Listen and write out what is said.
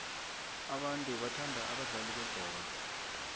abantu bathanda abadlali bebholo